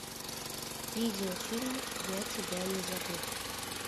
видеофильм я тебя не забыл